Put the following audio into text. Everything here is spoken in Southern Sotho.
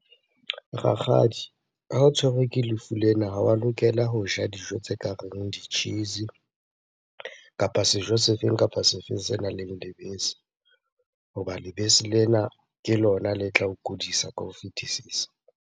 Rakgadi, ha o tshwerwe ke lefu lena ha wa lokela ho ja dijo tse kareng di-cheese kapa sejo sefeng kapa sefeng senang le lebese. Hoba lebese lena ke lona le tla o kudisa ka ho fetisisa.